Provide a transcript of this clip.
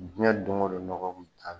Jiyɛn don o don nɔgɔ kun bɛ taa